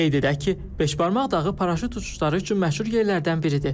Qeyd edək ki, beşbarmaq dağı paraşüt uçuşları üçün məşhur yerlərdən biridir.